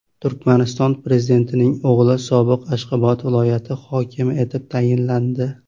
Turkmaniston prezidentining o‘g‘li sobiq Ashxobod viloyati hokimi etib tayinlandi.